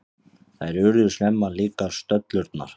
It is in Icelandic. Þær urðu snemma líkar, stöllurnar.